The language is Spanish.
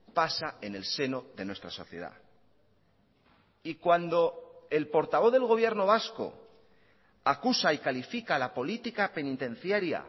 pasa en el seno de nuestra sociedad y cuando el portavoz del gobierno vasco acusa y califica la política penitenciaria